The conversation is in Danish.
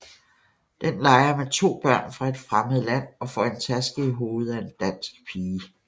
Den leger med to børn fra et fremmed land og får en taske i hovedet af en dansk pige